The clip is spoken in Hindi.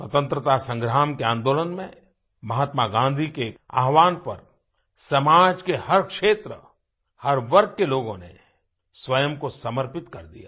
स्वतंत्रता संग्राम के आंदोलन में महात्मा गाँधी के आह्वान पर समाज के हर क्षेत्र हर वर्ग के लोगों ने स्वयं को समर्पित कर दिया